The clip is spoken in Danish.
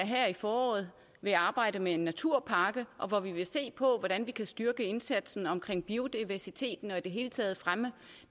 her i foråret vil arbejde med en naturpakke hvor vi vil se på hvordan vi kan styrke indsatsen omkring biodiversiteten og i det hele taget fremme